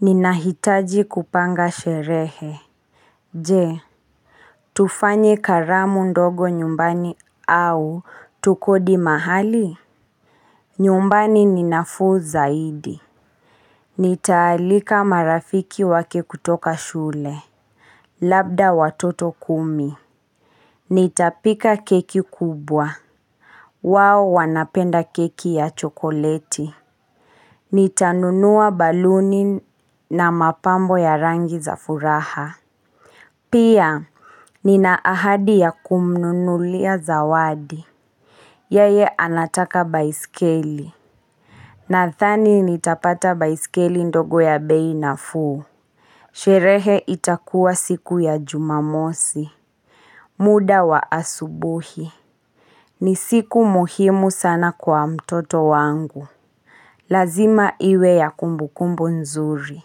Ninahitaji kupanga sherehe. Je, tufanye karamu ndogo nyumbani au tukodi mahali? Nyumbani ni nafuu zaidi. Nitaalika marafiki wake kutoka shule. Labda watoto kumi. Nitapika keki kubwa. Wao wanapenda keki ya chokoleti. Nitanunua baluni na mapambo ya rangi za furaha. Pia, nina ahadi ya kumnunulia zawadi. Yeye anataka baiskeli. Nathani nitapata baiskeli ndogo ya bei nafuu. Sherehe itakuwa siku ya jumamosi. Muda wa asubuhi. Ni siku muhimu sana kwa mtoto wangu. Lazima iwe ya kumbukumbu nzuri.